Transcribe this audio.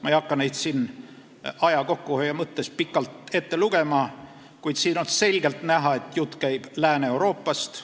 Ma ei hakka neid siin aja kokkuhoiu mõttes ette lugema, kuid seal on selgelt näha, et jutt käib Lääne-Euroopast.